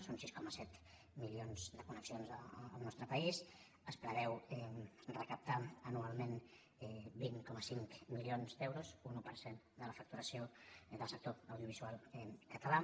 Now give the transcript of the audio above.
són sis coma set milions de connexions al nostre país es preveuen recaptar anualment vint coma cinc milions d’euros un un per cent de la facturació del sector audiovisual català